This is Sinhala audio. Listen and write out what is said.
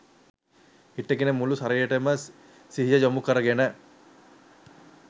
හිටගෙන මුළු ශරීරයටම සිහිය යොමු කරගෙන